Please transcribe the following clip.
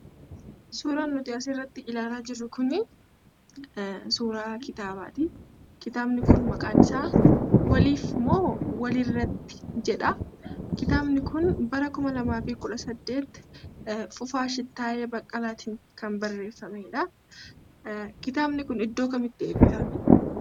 Suuraan nuti asirratti ilaalaa jirru kunii suuraa kitaabaati. Kitaabni kun maqaan isaa "Waliif moo walirratti?" jedha. Kitaabni kun bara 2018 Fufaa Shittaayee Baqqalaatiin kan barreeffamedha. Kitaabni kun iddoo kamitti eebbifame?